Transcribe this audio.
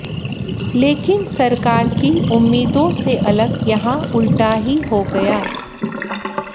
लेकिन सरकार की उम्मीदों से अलग यहां उल्टा ही हो गया